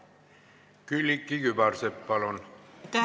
Külliki Kübarsepp, palun!